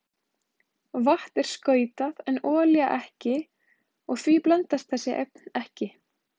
Vatn er skautað en olía ekki og því blandast þessi efni ekki.